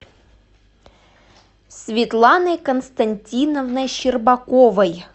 светланой константиновной щербаковой